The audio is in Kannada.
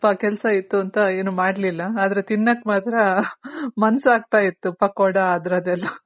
ಇವತ್ತು ಸ್ವಲ್ಪ ಕೆಲ್ಸ ಇತ್ತು ಅಂತ ಏನು ಮಾಡ್ಲಿಲ್ಲ ಆದ್ರೆ ತಿನ್ನಕ್ ಮಾತ್ರ ಮನ್ಸ್ ಆಗ್ತಾ ಇತ್ತು ಪಕ್ಕೋಡ ಅದ್ರದೆಲ್ಲ